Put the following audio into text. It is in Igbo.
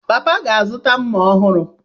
Papa ga-azụta mma ọhụrụ.